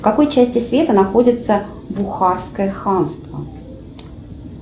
в какой части света находится бухарское ханство